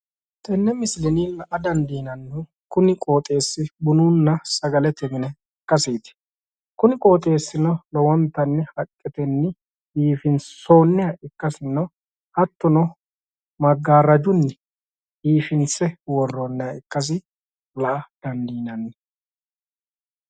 Tene misilenni la"a dandiinannihu bunu mine biifinsoniha ikkasinna qoxxeesasi sharunni seekkine qoqqomboonniha ikkasi xawisano